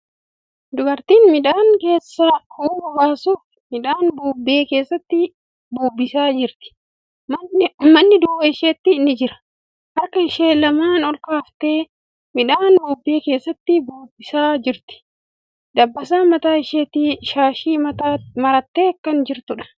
Dubartiin midhaan keessaa huuba baasuf midhaan bubbee keessatti bubbisaa jirti. Manni duuba isheetti ni jira. Harka ishee lamaan olkaaftee midhaan bubbee keessatti bubbisaa jirti. Dabbasaa mataa isheetti shaashii marattee kan jirtuudha.